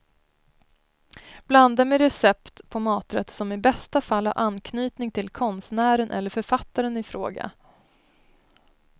Blanda med recept på maträtter som i bästa fall har anknytning till konstnären eller författaren i fråga.